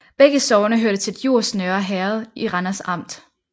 Begge sogne hørte til Djurs Nørre Herred i Randers Amt